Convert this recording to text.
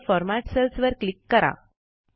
नंतर format cells वर click करा